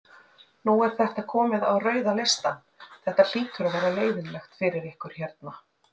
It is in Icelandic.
Nú er þetta komið á rauða listann, þetta hlýtur að vera leiðinlegt fyrir ykkur hérna?